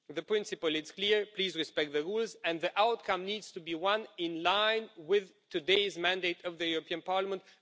The principle is clear please respect the rules and the outcome needs to be in line with today's mandate of the European Parliament.